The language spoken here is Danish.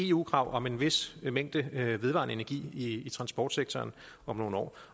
eu krav om en vis mængde vedvarende energi i transportsektoren om nogle år